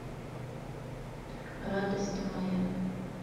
радость моя